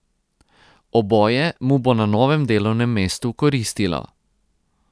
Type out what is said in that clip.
Oboje mu bo na novem delovnem mestu koristilo.